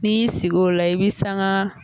N'i y'i sigi lo a i be sanga